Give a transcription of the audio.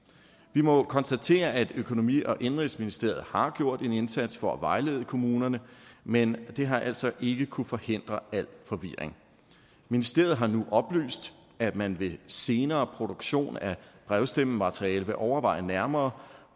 vi må konstatere at økonomi og indenrigsministeriet har gjort en indsats for at vejlede kommunerne men det har altså ikke kunnet forhindre al forvirring ministeriet har nu oplyst at man ved senere produktion af brevstemmemateriale vil overveje nærmere